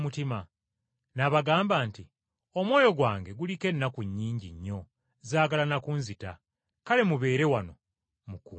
N’abagamba nti, “Omwoyo gwange guliko ennaku nnyingi nnyo zaagala na kunzita, kale mubeere wano mukuume.”